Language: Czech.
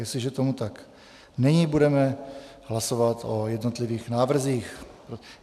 Jestliže tomu tak není, budeme hlasovat o jednotlivých návrzích.